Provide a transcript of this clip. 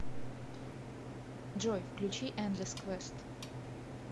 джой включи эндлесс квест